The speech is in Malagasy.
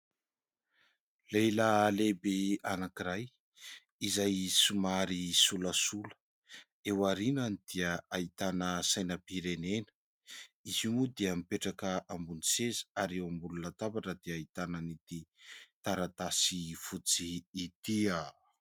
Lehilahy lehibe anankiray izay somary solasola, eo aorianany dia ahitana sainampirenena, izy io moa dia mipetraka ambony seza ary eo ambony latabatra dia ahitana an'ity taratasy fotsy ity.